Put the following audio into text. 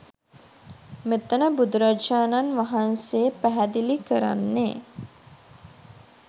මෙතන බුදුරජාණන් වහන්සේ පැහැදිලි කරන්නෙ